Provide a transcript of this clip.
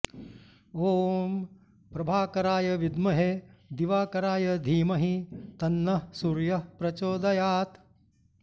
ॐ प्रभाकराय विद्महे दिवाकराय धीमहि तन्नः सूर्यः प्रचोदयात्